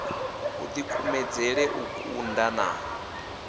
u dikumedzele u tunda na